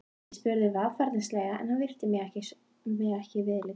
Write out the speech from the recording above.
Ég spurði varfærnislega en hann virti mig ekki viðlits.